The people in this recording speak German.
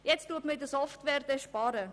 Jetzt will man bei der «Software» sparen.